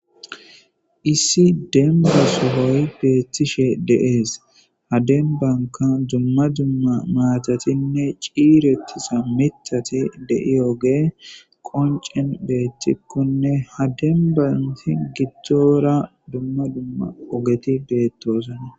Issi demba sohoy beetishe de'es. Ha dembanika dumma dumma mathatine c'iiretiza miththati de'iyoge konc'en beetikone ha demban gidin gidora dumma dumma ogeti beetosona.